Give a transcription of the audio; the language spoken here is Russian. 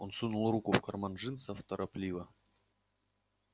он сунул руку в карман джинсов торопливо